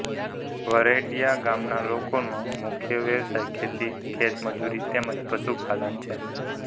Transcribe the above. વરેડિયા ગામના લોકોનો મુખ્ય વ્યવસાય ખેતી ખેતમજૂરી તેમ જ પશુપાલન છે